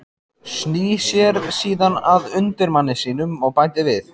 Snýr sér síðan að undirmanni sínum og bætir við